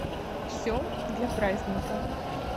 все для праздника